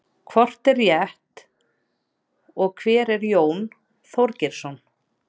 hvort er rétt og hver er jón þorgeirsson